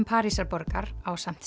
Parísarborgar ásamt